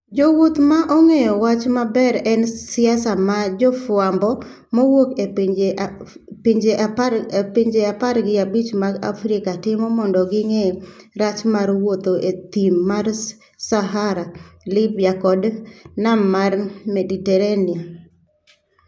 Jowuoth ma ong'eyo wach maber en siasa ma jofwambo mawuok e pinje 15 mag Afrika timo mondo ging'e rach mar wuotho e thim mar Sahara, Libya kod nam mar Mediterania.